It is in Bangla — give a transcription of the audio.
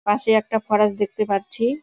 পাশে একটা ফরেস দেখতে পাচ্ছি।